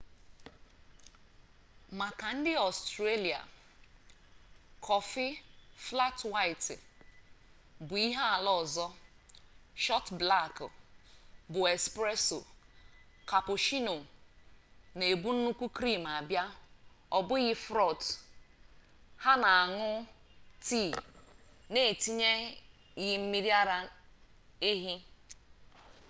maka ndị australia kọfị 'flat white' bụ ihe ala ọzọ. shọt blak bụ 'espresso' cappuccino na-ebu nnukwu krim abịa ọ bụghị froth ha na-añụ tii na-etinyeghị mmiri ara ehi